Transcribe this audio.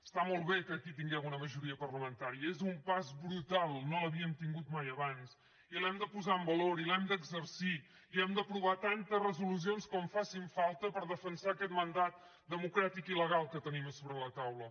està molt bé que aquí tinguem una majoria parlamentària és un pas brutal no l’havíem tingut mai abans i l’hem de posar en valor i l’hem d’exercir i hem d’aprovar tantes resolucions com facin falta per defensar aquest mandat democràtic i legal que tenim a sobre la taula